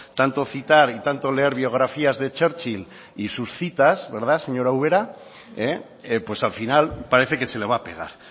tanto citar y tanto leer biografías de churchill y sus citas verdad señora ubera pues al final parece que se le va a pegar